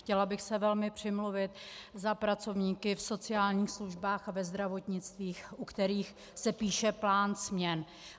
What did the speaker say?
Chtěla bych se velmi přimluvit za pracovníky v sociálních službách a ve zdravotnictví, u kterých se píše plán směn.